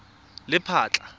lephatla